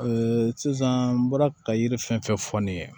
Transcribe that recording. sisan n bɔra ka yiri fɛn fɛn fɔ ne ye